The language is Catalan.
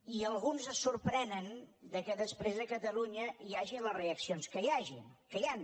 i alguns es sorprenen que després a catalunya hi hagi les reaccions que hi han